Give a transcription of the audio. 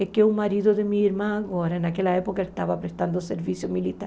É que o marido de minha irmã agora, naquela época, estava prestando serviço militar.